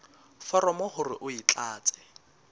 foromo hore o e tlatse